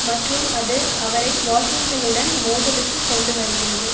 மற்றும் அது அவரை வாஷிங்டனுடன் மோதலுக்குக் கொண்டு வருகிறது